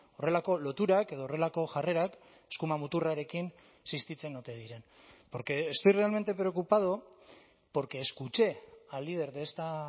horrelako loturak edo horrelako jarrerak eskuma muturrarekin existitzen ote diren porque estoy realmente preocupado porque escuché al líder de esta